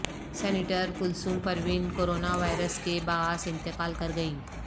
سینیٹرکلثوم Parveen corona virus کے باعث انتقال کر گئیں